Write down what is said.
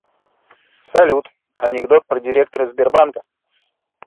салют анекдот про директора сбербанка